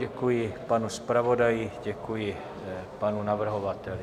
Děkuji panu zpravodaji, děkuji panu navrhovateli.